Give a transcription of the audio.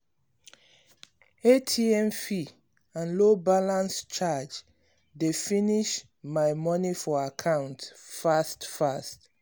atm fee and low balance charge dey finish my moni for account fast fast.